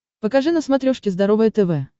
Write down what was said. покажи на смотрешке здоровое тв